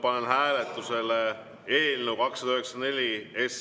Panen hääletusele eelnõu 294.